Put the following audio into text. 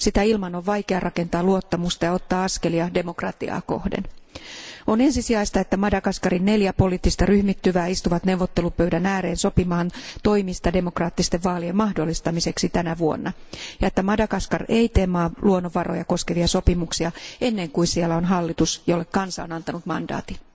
Sitä ilman on vaikeaa rakentaa luottamusta ja ottaa askelia demokratiaa kohden. On ensisijaista, että Madagaskarin neljä poliittista ryhmittymää istuvat neuvottelupöydän ääreen sopimaan toimista demokraattisten vaalien mahdollistamiseksi tänä vuonna ja että Madagaskar ei tee luonnonvaroja koskevia sopimuksia ennen kuin siellä on hallitus, jolle kansa on antanut mandaatin.